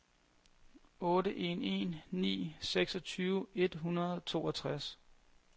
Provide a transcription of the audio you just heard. otte en en ni seksogtyve et hundrede og toogtres